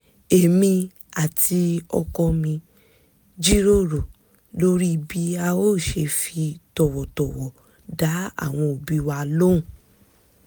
è̀mi àti ọkọọ mi jíròrò lóri bí a ó ṣe fi tọ̀wọ̀tọ̀wọ̀ dá àwọn òbí wa lóhùn